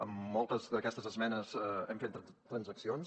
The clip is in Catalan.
en moltes d’aquestes esmenes hem fet transaccions